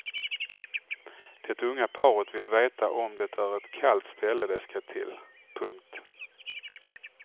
Det unga paret vill veta om det är ett kallt ställe de ska till. punkt